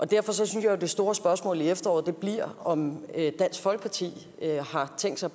derfor synes jeg jo at det store spørgsmål i efteråret bliver om dansk folkeparti har tænkt sig